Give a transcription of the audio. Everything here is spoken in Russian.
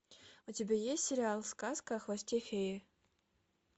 у тебя есть сериал сказка о хвосте феи